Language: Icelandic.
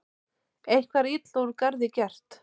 Eitthvað er illa úr garði gert